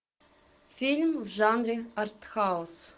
фильм в жанре артхаус